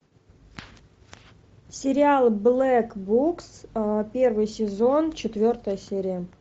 сериал блэк букс первый сезон четвертая серия